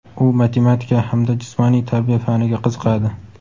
U matematika hamda jismoniy tarbiya faniga qiziqadi.